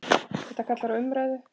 Þetta kallar á umræðu.